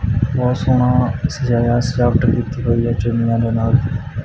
ਬਹੁਤ ਸੋਹਣਾ ਸਜਾਇਆ ਸਜਾਵਟ ਕੀਤੀ ਹੋਈ ਹੈ ਚੁੰਨੀਆਂ ਦੇ ਨਾਲ।